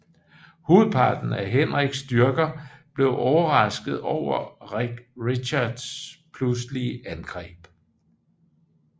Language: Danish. Hovedparten af Henriks styrker blev overrasket over Richards pludselig angreb